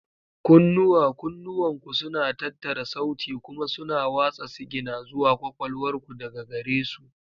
Kunnuwa: Kunnuwanku suna tattara sauti kuma suna watsa sigina zuwa kwakwalwar ku daga gare su.